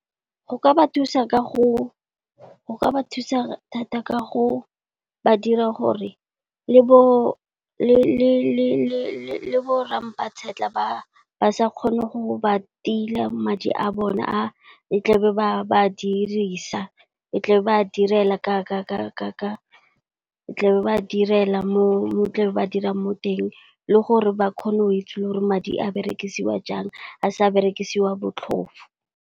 Go ka ba thusa thata ka go ba dira gore le bo Rra mpa-tshetlha ba sa kgone go ba tila madi a bone a e tla be ba dirisa, e tla ba direla, ba direla mo tlabe ba dirang mo teng. Le gore ba kgone go itse gore madi a berekisiwa jang a sa berekisiwa botlhofo.